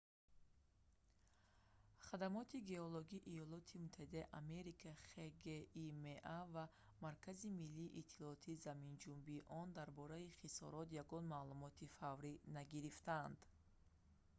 хадамоти геологии иёлоти муттаҳидаи амрико хгима ва маркази миллии иттилоотии заминҷунбии он дар бораи хисорот ягон маълумоти фаврӣ нагирифтаанд